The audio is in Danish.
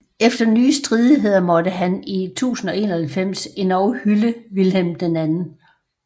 Efter nye stridigheder måtte han i 1091 endog hylde Vilhelm 2